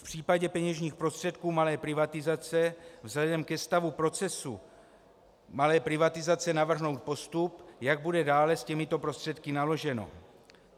V případě peněžních prostředků malé privatizace vzhledem ke stavu procesu malé privatizace navrhnout postup, jak bude dále s těmito prostředky naloženo.